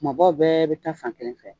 Kumabaw bɛɛ be taa fan kelen fɛ.